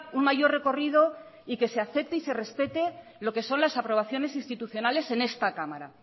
un mayor recorrido y que se acepte y se respete lo que son las aprobaciones institucionales en esta cámara